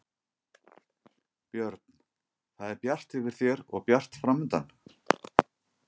Björn: Það er bjart yfir þér og bjart framundan?